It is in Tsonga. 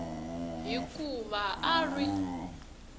hi ku va a ri